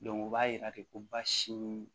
o b'a yira de ko baasi